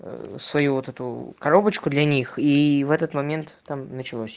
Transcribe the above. ээ свою вот эту коробочку для них и в этот момент там началось